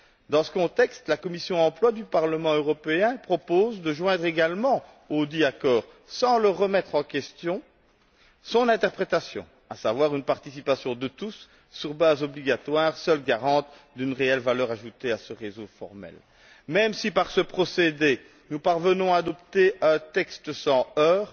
Dans ce contexte, la commission Emploi du Parlement européen propose de joindre également audit accord, sans le remettre en question, son interprétation, à savoir une participation de tous, sur base obligatoire, seule garante d'une réelle valeur ajoutée à ce réseau formel. Même si, par ce procédé, nous parvenons à adopter un texte sans heurts,